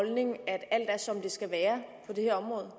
holdning at alt er som det skal være på det her område